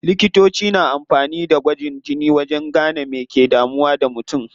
Likitoci na amfani da gwajin jini wajen gane me ke damun mutum.